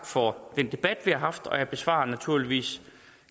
for den debat vi har haft jeg besvarer naturligvis